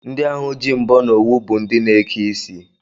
Ndị ahụ ji mbọ na owu bụ ndị na-eke isi